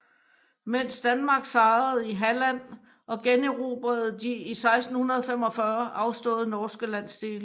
Mens Danmark sejrede i Halland og generobrede de i 1645 afståede norske landsdele